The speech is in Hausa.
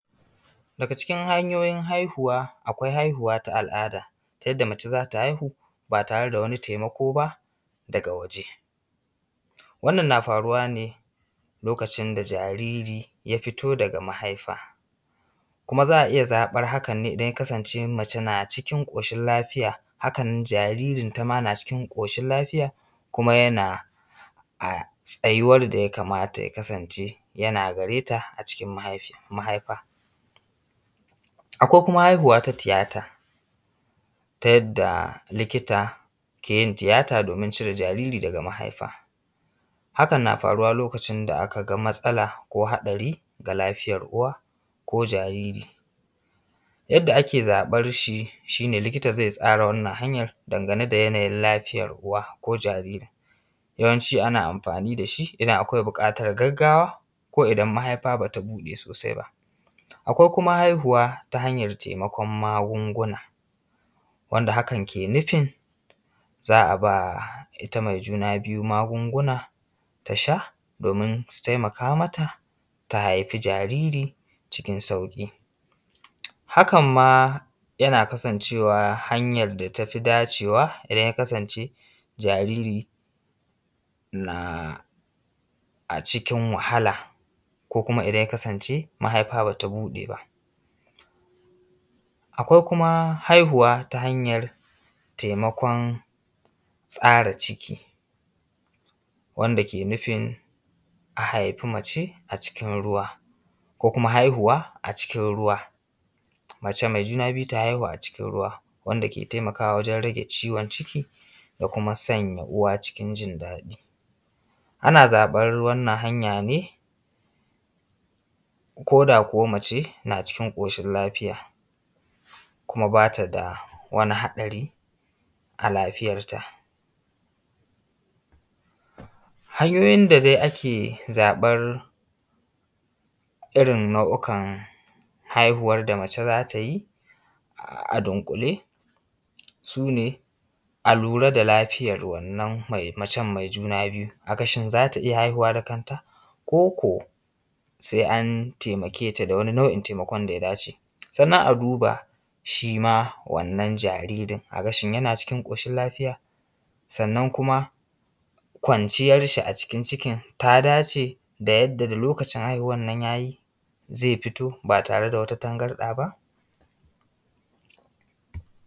Daga cikin hanyoyin haihuwa akwai haihuwa ta al’ada ta yadda mace za ta haihu ba tare da wani taimako baa daga waje. Wannan naa faruwa ne lokacin da jariri ya fito daga mahaifa, kuma za a iya zaɓar hakan ne idan ya kasance mace na cikin ƙoshin lafiya, hakan nan jaririnta maa naa cikin lafiya kuma yana a tsayuwar da ya kamata ya kasance yana gareta acikin mahaifa. Akwai kuma haihuwa na tiyata, ta yadda likita ke yin tiyata doomin cire jaariri daga mahaifa, hakan naa faruwa lokacin da aka ga matsala ko haɗari ga lafiyar uwa ko jariri yadda ake zaɓar shi shi ne likita zai tsara wannan hanyar dangane da yanayin lafiyar uwa ko jaaririn. Yawanci ana amfaani da shi idan akwai buƙatar gaggawa ko idan mahaifa bata buɗee sosai ba. Akwai kuma haihuwa ta hanyar taimakon magunguna wanda hakan ke nufin za a ba ita mai juna biyu magunguna ta sha doomin su taimaka mata ta haifi jaariri cikin sauƙi. Hakan maa yana kasancewa hanyar da tafi dacewa idan ya kasance jaariri na aʧikin wahala ko kuma idan yaa kasance mahaifa bata buɗe ba. Akʷai kuma haihuwa ta hanyar taimakon tsara ciki wanda ke nufin a haifi mace acikin ruwa, ko kuma haihuwa acikin ruwa, mace mai juna biyu ta haihu acikin ruwa wanda ke taimakawa wajen rage ciwon ciki da kuma sanya uwa cikin jin daɗi. Ana zaɓar wannan hanya ne ko da kuwa mace na cikin ƙoshin lafiya kuma ba ta da wani haɗari a lafiyarta. Hanyoyin da dai ake zaɓar irin nau’ukan haihuwan da mace za ta yi a dunƙule su ne a lura da lafiyar wannan mai macen mai juna biyu a ga shin za ta iya haihuwa da kanta ko ko sai an taimake ta da wani nau’in taimakon da ya dace. Sannan a dubaa shi ma wannan jaririn shin yana cikin ƙoshin lafiya, sannan kuma kwanciyar shi a cikin cikin ta dace yadda da lokacin haihuwan nan yaa yi zai fito ba tare da wata tangarɗa ba.